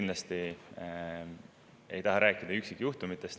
Ma kindlasti ei taha rääkida üksikjuhtumitest.